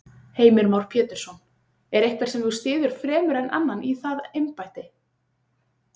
Heimir Már Pétursson: Er einhver sem þú styður fremur en annan í það embætti?